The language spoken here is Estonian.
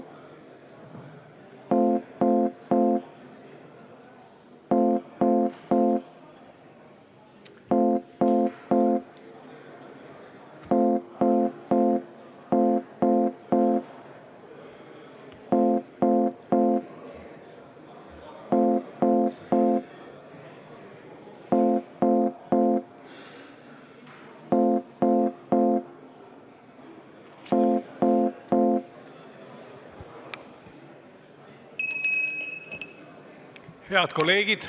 Head kolleegid!